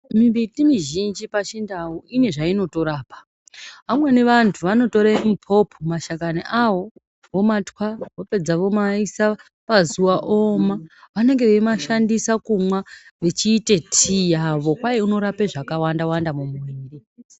Mimbiti mizhinji pachindau ine zvainorapa amweni anthu anotore miphopho mashakani awoo vomatwa vopedza vomaise pazuwa ooma vanenge vachimashandisa kumwa vechiite tii yavo kwai inorape zvakawanda mumuviri.